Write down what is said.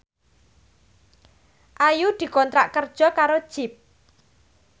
Ayu dikontrak kerja karo Jeep